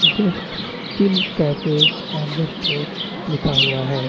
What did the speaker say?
Just chill cafe and store लिखा हुआ है।